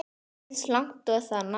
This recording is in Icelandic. Eins langt og það nær.